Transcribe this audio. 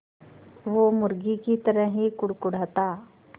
वो मुर्गी की तरह ही कुड़कुड़ाता